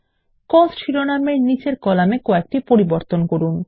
coast শিরোনামের নিচের কলামে কয়েকটি পরিবর্তন করা যাক